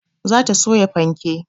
Za ta soya fanke